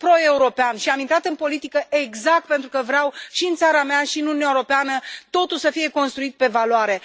Sunt pro european și am intrat în politică exact pentru că vreau și în țara mea și în Uniunea Europeană ca totul să fie construit pe valoare.